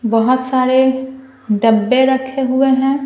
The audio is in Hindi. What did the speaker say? बहुत सारे डब्बे रखे हुए हैं।